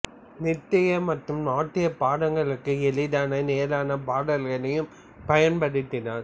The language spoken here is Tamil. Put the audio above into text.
நிர்த்ய மற்றும் நாட்டிய பதங்களுக்கு எளிதான நேரான பாடல்களைப் பயன்படுத்தினார்